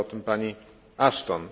mówiła o tym pani Ashton.